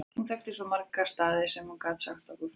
Hún þekkti svo marga staði sem hún gat sagt okkur frá.